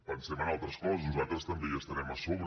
pensem en altres coses nosaltres també hi estarem a sobre